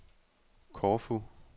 Korfu